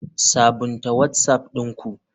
Sabunta whatsapp ɗin ku.